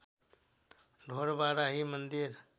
ढोरबाराही मन्दिर